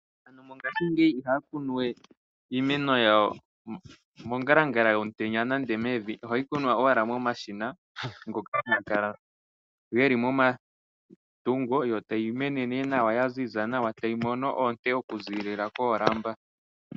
Aantu mongashingeyi ihaya kunu we iimeno yawo mongalangala yomutenya nenge mevi, ohayi kunwa owala momashina ngoka haga kala geli momatungo, yo tayi mene nee nawa, yaziza nawa tayi mono oonte okuzilila koolamba.